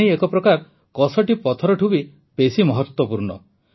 ପାଣି ଏକ ପ୍ରକାର କଷଟି ପଥରଠୁ ବି ବେଶି ମହତ୍ୱପୂର୍ଣ୍ଣ